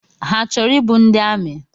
Ha chọrọ ịbụ ndị amị?